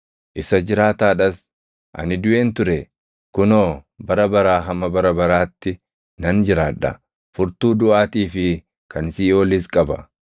Isa jiraataa dhas; ani duʼeen ture; kunoo, bara baraa hamma bara baraatti nan jiraadha! Furtuu duʼaatii fi kan Siiʼoolis qaba.